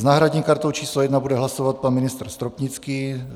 S náhradní kartou číslo 1 bude hlasovat pan ministr Stropnický.